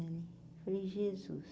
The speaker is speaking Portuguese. Falei, Jesus.